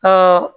Ka